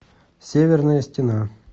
северная стена